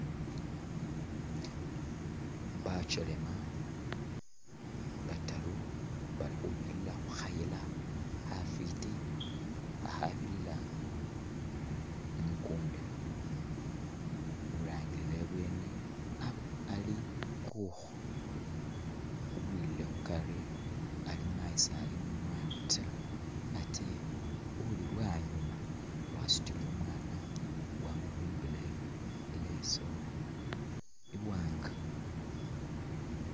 Bakyelema bataru bali khubirila khukhayila khafiti khakhabirila mukunda urangile ibweni ali kukhu, uwilile khukari ali mayi sali nu mwana ta atee uli lwanyuma wasutile umwana wamubimbile ileesu iwanga.